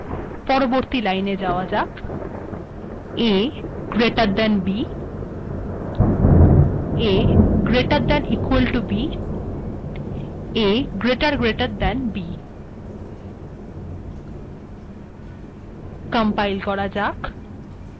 পরবর্তী লাইেন যাওয়া যাক a greater than b a greater than or equal to b a greater greater than b